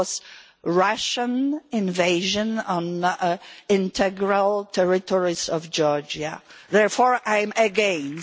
It was a Russian invasion of the integral territories of Georgia. Therefore I am against.